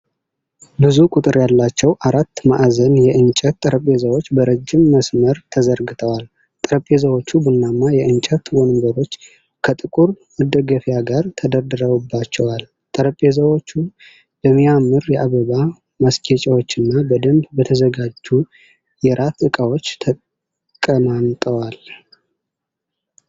ብዙ ቁጥር ያላቸው አራት ማዕዘን የእንጨት ጠረጴዛዎች በረጅም መስመር ተዘርግተዋል። ጠረጴዛዎቹ ቡናማ የእንጨት ወንበሮች ከጥቁር መደገፊያ ጋር ተደርድረውባቸዋል። ጠረጴዛዎቹ በሚያምር የአበባ ማስጌጫዎችና በደንብ በተዘጋጁ የራት እቃዎች ተቀማምጠዋል።